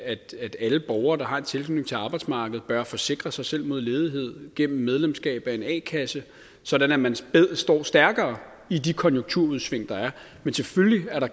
at alle borgere der har en tilknytning til arbejdsmarkedet bør forsikre sig selv mod ledighed gennem medlemskab af en a kasse sådan at man står stærkere i de konjunkturudsving der er men selvfølgelig kan der